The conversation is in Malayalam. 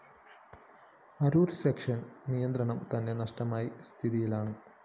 അരൂര്‍ സെക്ഷന്റെ നിയന്ത്രണം തന്നെ നഷ്ടമായ സ്ഥിതിയാണ്